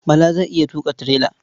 Bala zai iya tuƙa tirela.